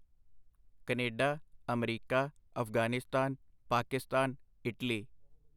Canada, America, Afghanistan, Pakistan, Italy